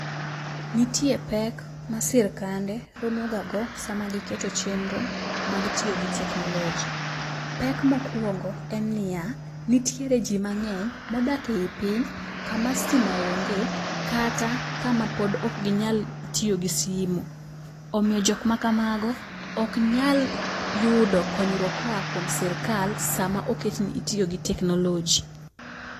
Nitie pek ma sirikande romoga go e seche ma giketo chenro mag tiyo gi technology. Pek mokwongo en niya, nitiere jii mang'eny modak ei piny kama stima onge kata kama pod ok ginyal tiyo gi simo. Omiyo jok makamago ok nyal yudo konyruok koa kuom sirikal sama oket ni itiyo gi technology.